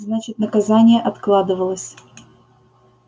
значит наказание откладывалось